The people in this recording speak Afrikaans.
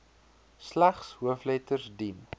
slegs hoofletters dien